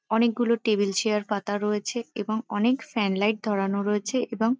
অনেকগুলো table chair পাতা রয়েছে এবং অনেকগুলো ফ্যান লাইট ধরানো রয়েছে এবং ।